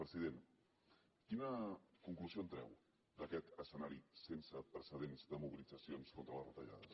president quina conclusió en treu d’aquest escenari sense precedents de mobilitzacions contra les retallades